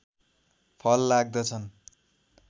फल लाग्दछन्